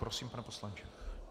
Prosím, pane poslanče.